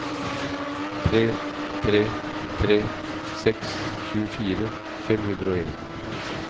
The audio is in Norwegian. tre tre tre seks tjuefire fem hundre og en